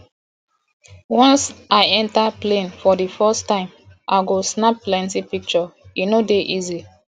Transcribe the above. once i enta plane for di first time i go snap plenty pishure e no dey easy